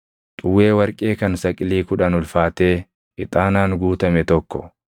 xuwwee warqee kan saqilii kudhan ulfaatee ixaanaan guutame tokko,